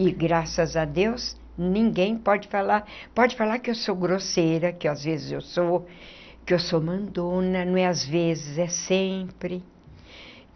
E graças a Deus, ninguém pode falar, pode falar que eu sou grosseira, que às vezes eu sou, que eu sou mandona, não é às vezes, é sempre.